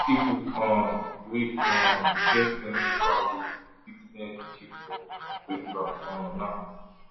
people um wey um get plenty fowl dey sit near chiefs for festival um now